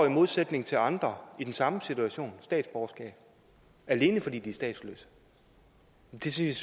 i modsætning til andre i den samme situation statsborgerskab alene fordi de er statsløse det synes